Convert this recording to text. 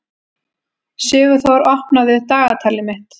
Sigurþór, opnaðu dagatalið mitt.